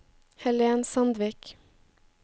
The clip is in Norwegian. Helen Sandvik